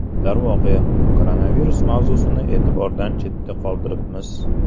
Darvoqe, koronavirus mavzusini e’tibordan chetda qoldiribmiz.